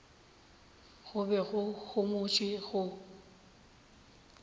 go be go homotšwe go